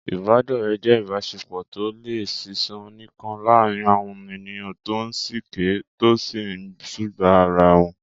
Ìbádọ́rẹ̀ẹ́ jẹ́ ìbáṣepọ̀ tó lè ṣiṣẹ́ nìkan láàárín àwọn ènìyàn tó ń sìkẹ́, tó sì ń sùgbàá ara wọn.